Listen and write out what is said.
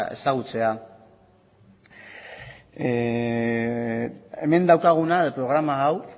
ezagutzea hemen daukaguna programa hau